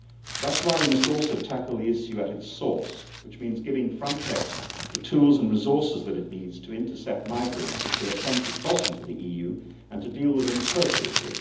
That is why we must also tackle the issue at its source, which means giving FRONTEX the tools and resources that it needs to intercept migrants as they attempt to cross into the EU, and to deal with them appropriately.